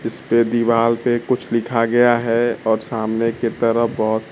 इसपे दीवाल पे कुछ लिखा गया है और सामने के तरफ बहोत--